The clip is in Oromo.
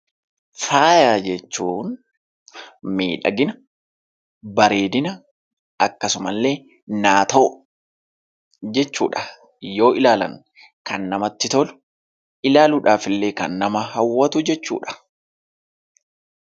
Faaya jechuun miidhagina, bareedina akkasumallee naatoo jechuudha. Yoo ilaalan kan namatti tolu kan nama hawwatu jechuudha.